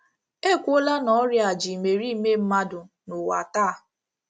E kwuola na ọrịa a ji imeriime mmadụ n’ụwa taa.